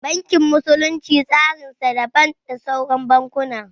Bankin musulunci tsarin sa daban da sauran bankuna